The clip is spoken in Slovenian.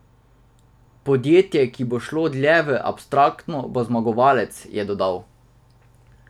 Podjetje, ki bo šlo dlje v abstraktno, bo zmagovalec, je dodal.